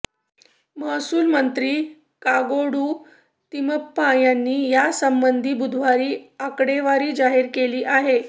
महसूल मंत्री कागोडू तिम्मप्पा यांनी यासंबंधी बुधवारी आकडेवारी जाहीर केली आहे